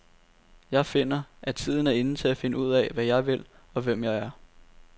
Jeg finder, at tiden er inde til at finde ud af, hvad jeg vil, og hvem jeg er.